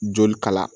Joli kalaya